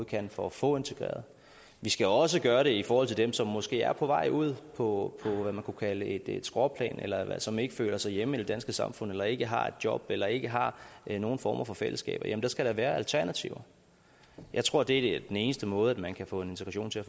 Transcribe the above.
kan for at få integreret vi skal også gøre det i forhold til dem som måske er på vej ud på et skråplan eller som ikke føler sig hjemme i det danske samfund eller ikke har et job eller ikke har nogen former for fællesskab der skal da være alternativer jeg tror at det er den eneste måde man kan få en integration til